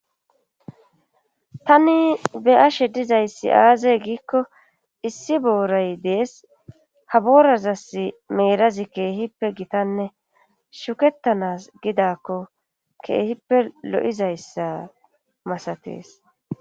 Tan beyashe dizays aaze giiko issi hooray des ha boorazas meerazi keehippe gitanne shuketansa gidakon keehippe lo'izaysa masates.